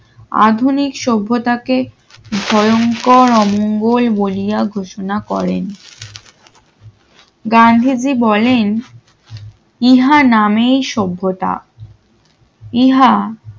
আধুনিক সভ্যতাকে ভয়ংকর অমঙ্গল বলিয়া ঘোষণা করেন গান্ধীজি বলেন ইহা নামেই সভ্যতা ইহা